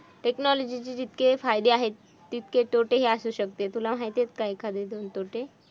Technology ची जितके फायदे आहेत, तितके तोटे ही असू शकते. तुला माहित आहे का? एखादे दोन तोटे.